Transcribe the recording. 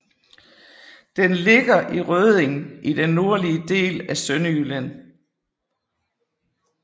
Den ligger i Rødding i den nordlige del af Sønderjylland